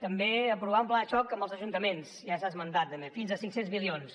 també aprovar un pla de xoc amb els ajuntaments ja s’ha esmentat també fins a cinc cents milions